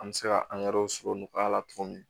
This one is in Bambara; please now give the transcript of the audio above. An bɛ se ka sɔrɔ nɔgɔya la cogo min